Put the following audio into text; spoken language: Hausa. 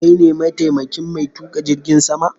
Kai ne ma taimakin mai tuƙa jirgin sama?